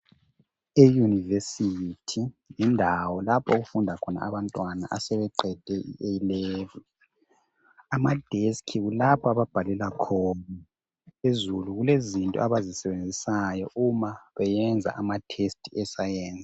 E-university yindawo lapho okufunda khona abantwana asebeqede i-A-Level. Ama-deski kulapha ababhalela khona, phezulu kulezinto abazisebenzisayo uma beyenza ama-test e-sayensi.